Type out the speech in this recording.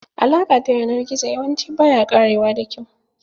Alaƙa ta yanar gizo yawanci baya ƙarewa da kyau.